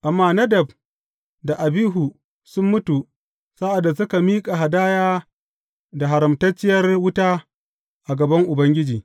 Amma Nadab da Abihu sun mutu sa’ad da suka miƙa hadaya da haramtacciyar wuta a gaban Ubangiji.